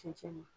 Cɛncɛn